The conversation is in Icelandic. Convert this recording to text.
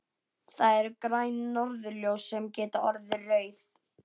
Það eru græn norðurljós sem geta orðið rauð.